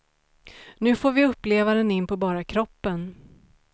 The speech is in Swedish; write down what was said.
Nu får vi uppleva den in på bara kroppen.